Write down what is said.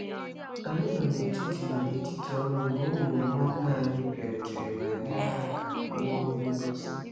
Anyị nọ n'etiti nọ n'etiti ọrụ mgbe ụmụ nwanne nna anyị bịarutere ma nyere aka wuo ihe ngosi.